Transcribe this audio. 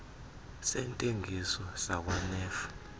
sentengiso sakwa nef